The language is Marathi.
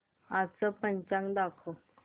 आजचं पंचांग दाखव